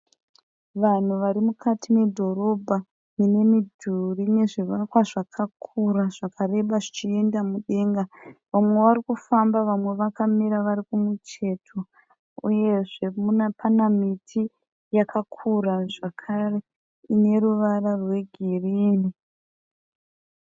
Vanhu vari mukati medhorobha mune midhuri nezvivakwa zvakakura zvakareba zvichienda mudenga vamwe varikufamba vamwe vakamira vari kumucheto uyezve pana miti yakakura zvakare ine ruvara rwegirini.